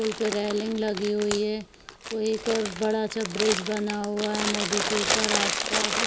पुल पे रेलिंग लगी हुई है वो एक और एक बड़ा सा ब्रिज बना हुआ है नदी के ऊपर आस पास --